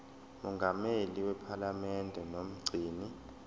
mongameli wephalamende nomgcini